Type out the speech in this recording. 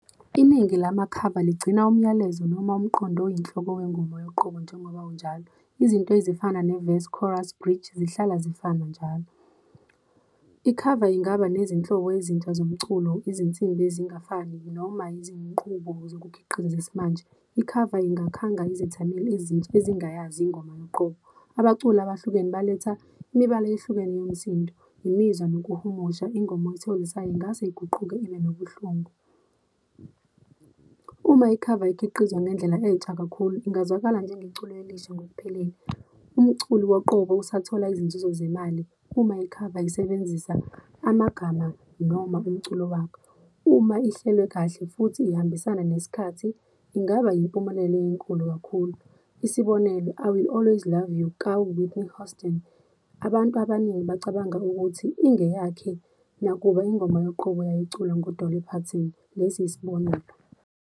Iningi lamakhava ligcina umyalezo noma umqondo oyinhloko wengoma yoqobo, njengoba unjalo. Izinto ezifana ne-verse, chorus, bridge zihlala zifana njalo. Ikhava ingaba nezinhlobo ezintsha zomculo, izinsimbi ezingafani noma izinqubo zokukhiqiza zesimanje, ikhava ingakhanga izethameli ezintsha ezingayazi ingoma yoqobo. Abaculi abahlukene baletha imibala eyehlukene yomsindo, imizwa nokuhumusha, ingoma ethokozisayo ingase iguquke ibe nobuhlungu. Uma ikhava ikhiqizwa ngendlela enthsa kakhulu, ingazwakala njengeculo elisha ngokuphelele. Umculi woqobo usathola izinzuzo zemali uma ikhava isebenzisa amagama noma umculo wakho. Uma ihlelwe kahle futhi ihambisana nesikhathi, ingaba yimpumelelo enkulu kakhulu. Isibonelo, I Will Always Love You, ka-Whitney Houston. Abantu abaningi bacabanga ukuthi ingeyakhe nakuba ingoma yoqobo yayiculwa ngu-Dolly Parton, lesi isibonelo.